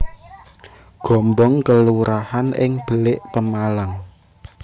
Gombong kelurahan ing Belik Pemalang